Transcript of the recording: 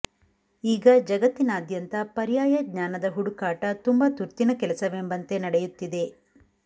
ಈಗ ಜಗತ್ತಿನಾದ್ಯಂತ ಪರ್ಯಾಯ ಜ್ಞಾನದ ಹುಡುಕಾಟ ತುಂಬ ತುರ್ತಿನ ಕೆಲಸವೆಂಬಂತೆೆ ನಡೆಯುತ್ತಿದೆ